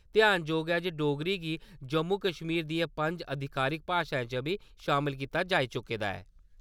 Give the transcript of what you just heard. ध्यानजोग ऐ जे डोगरी गी जम्मू-कश्मीर दियें पंज अधिकारिक भाशाएं च बी शामल कीता जाई चुके दा ऐ।